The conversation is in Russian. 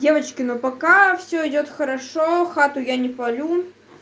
девочки но пока все идёт хорошо хату я не палю